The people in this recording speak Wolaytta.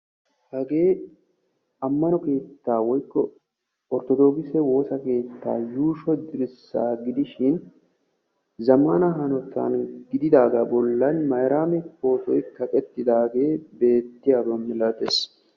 hagee ammano keetta woykko orttodokisse woossa keetta yuushsho dirssa gidishin zammana hanotan giigidaaga bollan mayraammi pootoy kaqetiidaagee diyaaba milatees.